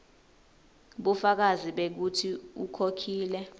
bufakazi bekutsi ukhokhile